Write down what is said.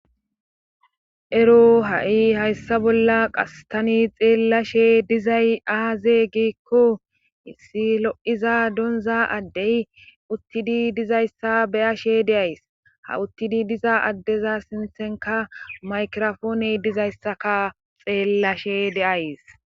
ero ha7i hayssa bolla qas tani xeellashe dizay aaze giikko issi lo7iza doonza addey uttidi dizayssa beyashe de'ays ha uttidi diza addeza sinthenka maykirofooney dizayssaka xeellashe de'ays